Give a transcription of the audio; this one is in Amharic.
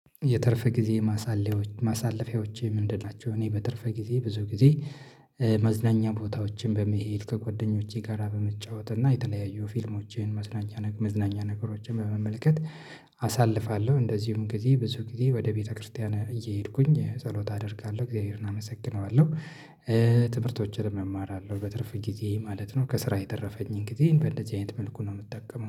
የትርፍ ጊዜ ማሳለያ ማሳለፊያዎች ምንድን ናቸው? እኔ በትርፍ ጊዜ ብዙ ጊዜ መዝናኛ ቦታዎችን በመሄድ ከጎደኞቼ ጋራ በመጫወት እና የተለያዩ ፊልሞችን መዝናኛ መዝናኛ ነገሮችን በመመልከት አሳልፋለሁ። እንደዚሁም ጊዜ ብዙ ጊዜ ወደ ቤተክርስቲያን እየሄድኩኝ ጸሎት አደርጋለሁ እግዚአብሔርን አመሰግነዋለሁ። ትምህርቶችንም እማራለሁ በትርፍ ጊዜ ማለት ነው ከስራ የተረፈኝን ጊዜ በእንደዚህ አይነት መልኩ ነው የምጠቀመው